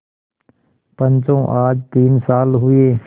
पंचो आज तीन साल हुए